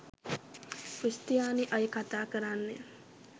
ක්‍රිස්තියානි අය කතා කරන්නේ.